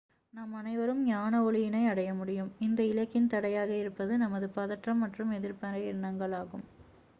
நாம் அனைவரும் ஞான ஒளியினை அடையமுடியும் இந்த இலக்கின் தடையாக இருப்பது நமது பதற்றம் மற்றும் எதிர்மறை எண்ணங்கள் ஆகும்